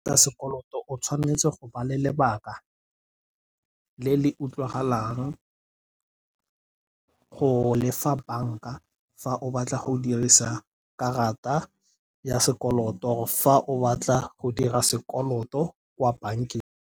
Sekoloto o tshwanetse go ba le lebaka le le utlwalang go lefa banka fa o batla go dirisa karata ya sekoloto. Fa o batla go dira sekoloto kwa bankeng.